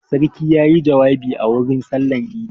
Sarki ya yi jawabi a wurin sallar idi.